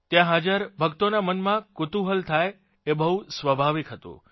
ત્યાં હાજર ભક્તોનાં મનમાં કુતૂહલ થાય એ બહુ સ્વાભાવિક હતુ